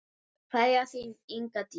Kveðja, þín, Inga Dís.